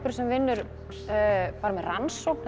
sem vinur bara með rannsókn er